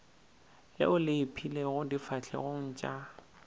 leo le ipeilego difahlegong tša